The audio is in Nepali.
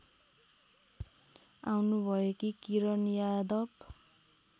आउनुभएकी किरण यादव